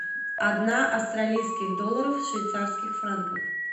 одна австралийских долларов в швейцарских франках